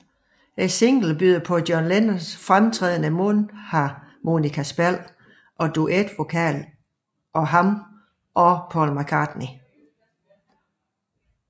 Singlen byder på John Lennons fremtrædende mundharmonikaspil og duetvokal af ham og Paul McCartney